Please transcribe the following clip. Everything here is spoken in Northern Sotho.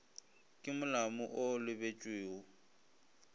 ke molamo wo o lebetšwego